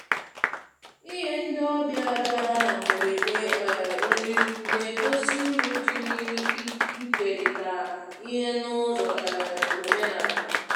Inye ndị ọbịa bịara na mgberede um nrí na-egosi uru dị n'ikerịta ihe n'ụzọ um omenala.